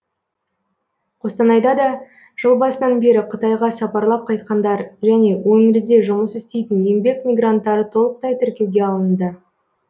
қостанайда да жыл басынан бері қытайға сапарлап қайтқандар және өңірде жұмыс істейтін еңбек мигранттары толықтай тіркеуге алынды